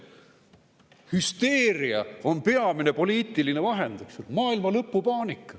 Hüsteeria on peamine poliitiline vahend, eks ju, maailmalõpu paanika.